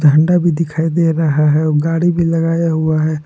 झंडा भी दिखाई दे रहा है और गाड़ी भी लगाया हुआ है।